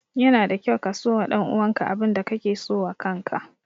Yana da kyau ka so wa ɗan uwan ka abin da ka ke so wa kan ka.